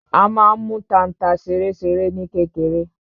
A má n mú tanta ṣeréṣeré ní kékeré.